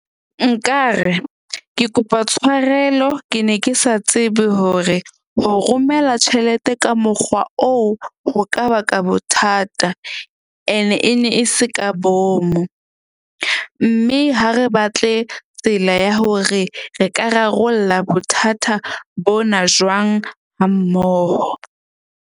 Nkare ke kopa tshwarelo. Ke ne ke sa tsebe hore ho romela tjhelete ka mokgwa oo ho ka baka bothata, ene e ne e se ka bomo. Mme ha re batle tsela ya hore re ka rarolla bothata bona jwang ha mmoho.